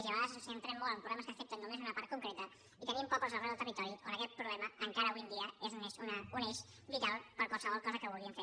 i a vegades ens centrem molt en problemes que afecten només una part concreta i tenim pobles arreu del territori on aquest problema encara avui en dia és un eix vital per a qualsevol cosa que vulguin fer